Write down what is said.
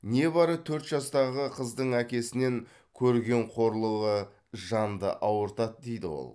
небары төрт жастағы қыздың әкесінен көрген қорлығы жанды ауыртады дейді ол